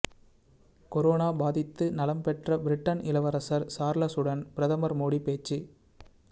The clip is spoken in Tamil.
கொரோனா பாதித்து நலம்பெற்ற பிரிட்டன் இளவரசர் சார்லசுடன் பிரதமர் மோடி பேச்சு